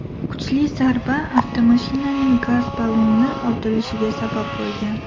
Kuchli zarba avtomashinaning gaz balloni otilishiga sabab bo‘lgan.